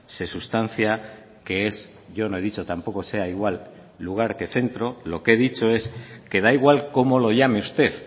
se sustancia que es yo no he dicho tampoco sea igual lugar que centro lo que he dicho es que da igual cómo lo llame usted